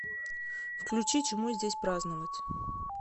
включи чему здесь праздновать